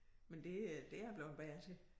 Men det det er jeg bleven bedre til